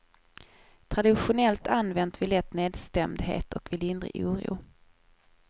Traditionellt använt vid lätt nedstämdhet och vid lindrig oro.